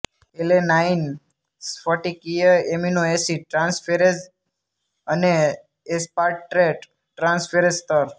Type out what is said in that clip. alanine સ્ફટિકીય amino acid transferase અને aspartate transferase સ્તર